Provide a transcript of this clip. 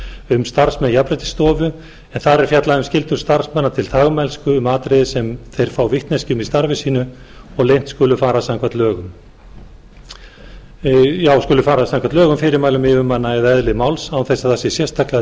um starfsmenn jafnréttisstofu en þar er fjallað um skyldu starfsmanna til þagmælsku um atriði sem þeir fá vitneskju um í starfi sínu og leynt skulu fara samkvæmt lögum fyrirmælum yfirmanna eða eðli máls án þess að það sé sérstaklega